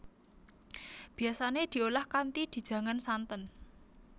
Biasane diolah kanthi dijangan santen